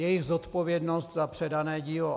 Jejich zodpovědnost za předané dílo.